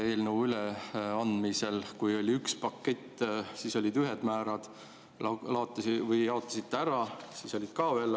Eelnõu üleandmisel, kui oli üks pakett, olid ühed määrad ja pärast jaotamist olid ka veel.